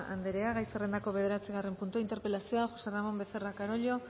andrea gai zerrendako bederatzigarren puntua interpelazioa josé ramón becerra carollo